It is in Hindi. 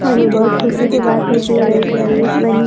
और ये बोहोत खुशी की बात है की ये लड़की आई.ए.एस.